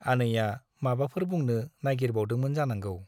आनैया माबाफोर बुंनो नाइगिरबावदोंमोन जानांगौ ।